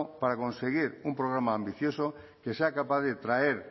para conseguir un programa ambicioso que sea capaz de traer